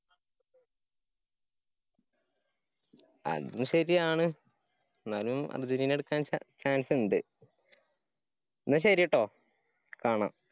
അതും ശരിയാണ്. ന്നാലും അര്‍ജന്‍റീന ഇട്ക്കാന്‍ chance ഇണ്ട്. ന്നാ ശരി ട്ടോ. കാണാ.